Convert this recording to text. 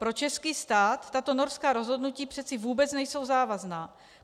Pro český stát tato norská rozhodnutí přece vůbec nejsou závazná.